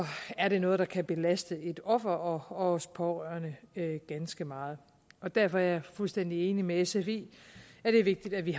er det noget der kan belaste et offer og også pårørende ganske meget derfor er jeg fuldstændig enig med sf i at det er vigtigt at vi